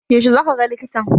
Yaushe zaka ga likitan?